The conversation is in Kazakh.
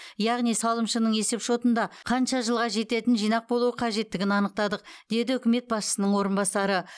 яғни салымшының есепшотында қанша жылға жететін жинақ болуы қажеттігін анықтадық деді үкімет басшысының орынбасары